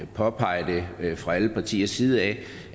påpeget det fra alle partiers side at